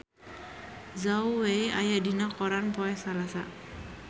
Zhao Wei aya dina koran poe Salasa